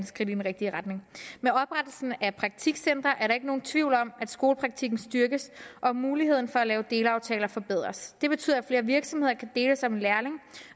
skridt i den rigtige retning med oprettelsen af praktikcentre er der ikke nogen tvivl om at skolepraktikken styrkes og at muligheden for at lave delaftaler forbedres det betyder at flere virksomheder kan deles om en lærling